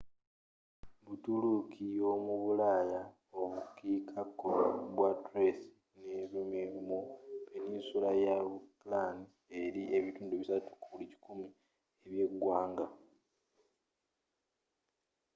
buturuuki yomubulaayaobukiika kkono bwa thrace ne rumelia mu peninsula ya balkan erimu 3% ebyeggwanga